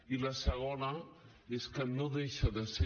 i la segona és que no deixa de ser